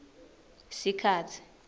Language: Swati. sikhatsi